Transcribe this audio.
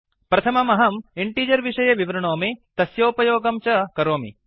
प्रथमम् अहम् इंटिजर् विषये विवृणोमि तस्योपयोगं च करोमि